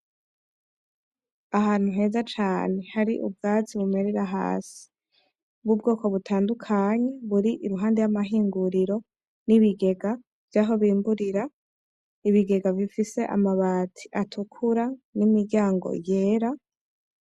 Ahantu heza cane hari ubwatsi bumerera hasi bw'ubwoko butandukanye buri impande y'amahinguriro n'ibigega vyaho bimburira, ibigega bifise amabati atukura n'imiryango yera.